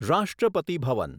રાષ્ટ્રપતિ ભવન